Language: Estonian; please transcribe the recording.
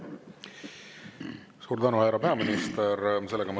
Suur tänu, härra peaminister!